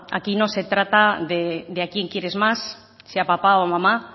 aquí no se trata de a quién quieres más si a papá o a mamá